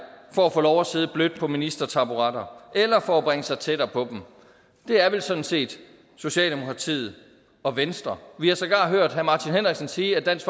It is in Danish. for at få lov til at sidde blødt på ministertaburetter eller for at bringe sig tættere på dem det er vel sådan set socialdemokratiet og venstre vi har sågar hørt herre martin henriksen sige at dansk